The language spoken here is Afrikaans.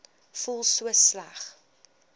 voel so sleg